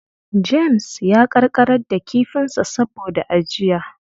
James ya ƙanƙarar da kifinsa saboda ajiya.